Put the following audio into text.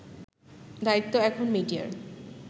দায়িত্ব এখন মিডিয়ার